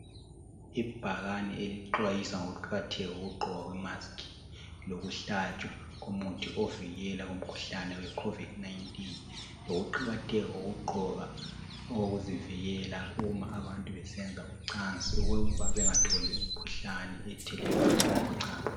Ibhakani elixhwayisa ngokuqakatheka kokugqokwa kwe mask ,lokuhlatshwa komuthi ovikela kumkhuhlane we COVID 19.Lokuqakatheka kokugqoka okokuzivikela uma abantu besenza ucansi. Okokuba bengatholi imkhuhlane ethelelwana ngokocansi.